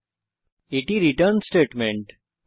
এবং এটি আমাদের রিটার্ন স্টেটমেন্ট